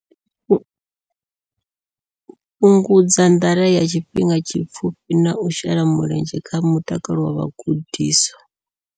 Fhungudza nḓala ya tshifhinga tshipfufhi na u shela mulenzhe kha mutakalo wa vhagudiswa.